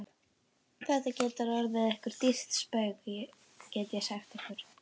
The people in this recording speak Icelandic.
Þetta getur orðið ykkur dýrt spaug, get ég sagt ykkur!